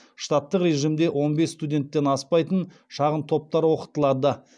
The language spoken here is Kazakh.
штаттық режимде он бес студенттен аспайтын шағын топтар оқытылады